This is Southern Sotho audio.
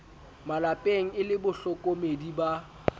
malepeng e le bahlokomedi ba